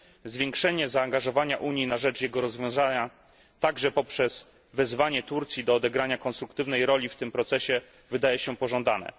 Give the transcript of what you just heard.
Zwiększone zaangażowanie Unii na rzecz rozwiązania tego konfliktu, także poprzez wezwanie Turcji do odegrania konstruktywnej roli w tym procesie, wydaje się pożądane.